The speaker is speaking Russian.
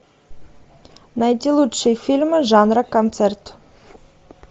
найти лучшие фильмы жанра концерт